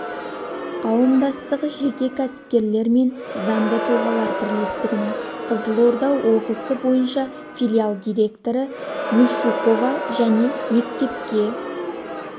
қауымдастығы жеке кәсіпкерлер мен заңды тұлғалар бірлестігінің қызылорда облысы бойынша филиал директоры мишукова және мектепке